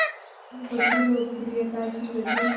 अपनी बढ़ती लोकप्रियता की वजह